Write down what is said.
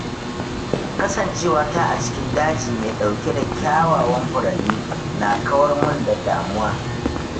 Kasancewata a cikin daji mai ɗauke da kyawawan furanni na kawar mun da damuwa.